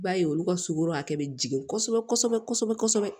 I b'a ye olu sugoro hakɛ be jigin kosɛbɛ kosɛbɛ kosɛbɛ